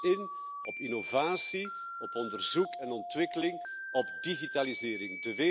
Zet dus in op innovatie, op onderzoek en ontwikkeling, op digitalisering.